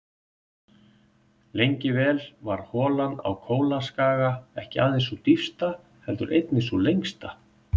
Lengi vel var holan á Kólaskaga ekki aðeins sú dýpsta heldur einnig sú lengsta.